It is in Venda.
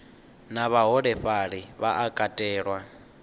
na vhaholefhali vha a katelwa